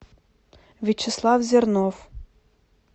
вячеслав зернов